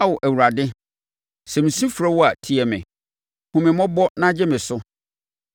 Ao, Awurade, sɛ mesu frɛ wo a, tie me! Hu me mmɔbɔ na gye me so!